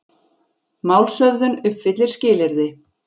Málshöfðun uppfyllir skilyrði